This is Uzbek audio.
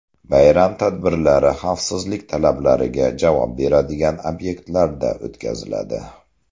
Bayram tadbirlari xavfsizlik talablariga javob beradigan obyektlarda o‘tkaziladi.